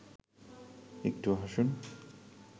একটু হাসুন